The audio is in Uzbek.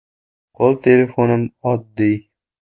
Qo‘l telefonim oddiy.